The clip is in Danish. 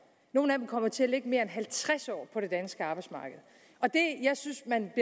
nogle af dem kommer til at lægge mere end halvtreds år på det danske arbejdsmarked og jeg synes at man